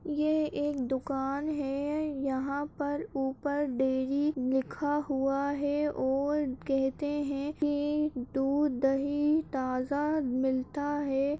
ये एक दुकान है यहाँ पर ऊपर डेयरी लिखा हुआ है और कहते हैं कि दूध-दही ताज़ा मिलता है।